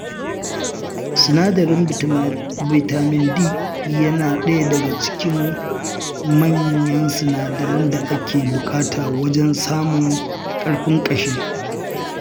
Sinadarin bitamin D yana ɗaya daga cikin manyan sinadaran da ake buƙata wajen samun ƙarfin ƙashi.